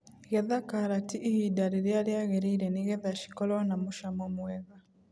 Getha karati ihinda rĩrĩa rĩagĩrĩire nĩgetha cikorwo na mũcamo mwega.